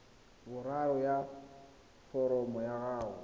boraro ya foromo ya gago